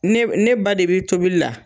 Ne ne ba de be tobili la